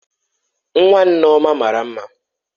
Nwa Nneoma mara mma